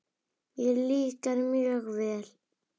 Mér líkar mjög vel.